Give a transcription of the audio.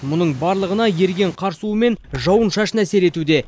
мұның барлығына еріген қар суымен жауын шашын әсер етуде